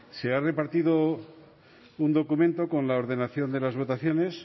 se ha repartido un documento con la ordenación de las votaciones